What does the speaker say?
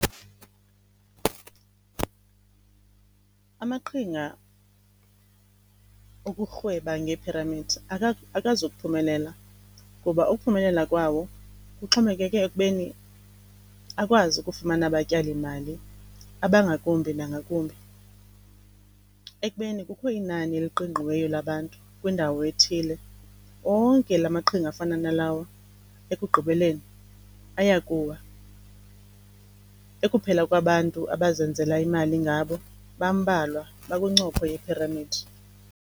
Amaqhinga okurhweba ngee-pyramids akazukuphumelela ngoba ukuphumelela kwawo kuxhomekeke ekubeni akwazi ukufumana abatyalimali abangakumbi nangakumbi. Ekubeni kukho inani eliqingqiweyo labantu kwindawo ethile, onke la maqhinga afana nalawo ekugqibeleni aya kuwa. Ekuphela kwabantu abazenzela imali ngabo, bambalwa, bakwincopho yephiramidi.